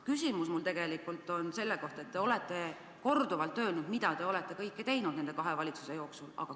Küsimus on mul aga tegelikult on selle kohta, et te olete korduvalt öelnud, mida kõike te olete teinud nende kahe valitsuse jooksul.